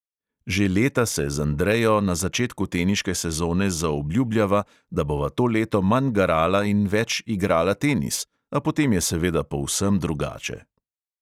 Že leta se z andrejo na začetku teniške sezone zaobljubljava, da bova to leto manj garala in več igrala tenis, a potem je seveda povsem drugače.